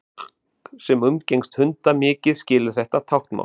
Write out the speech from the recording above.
fólk sem umgengst hunda mikið skilur þetta táknmál